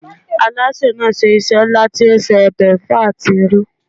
Alásè náà ṣe iṣẹ́ ńlá tí ó se ọbẹ̀ ẹ̀fọ́ àti irú.